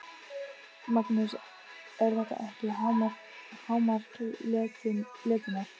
Magnús: Er þetta ekki hámark letinnar?